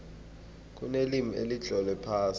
kunelimi elitlolwe phasi